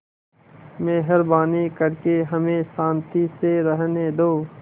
मेहरबानी करके हमें शान्ति से रहने दो